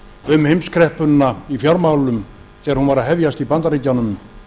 um heimskreppuna í fjármálum þegar hún var að hefjast í bandaríkjunum